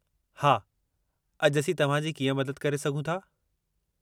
हा, अॼु असीं तव्हां जी कीअं मदद करे सघूं था?